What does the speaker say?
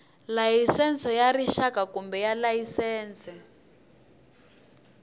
layisense ya rixaka kumbe layisense